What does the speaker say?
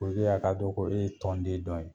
a ka dɔn ko e ye tɔnden dɔ ye.